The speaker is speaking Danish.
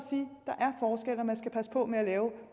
at man skal passe på med at lave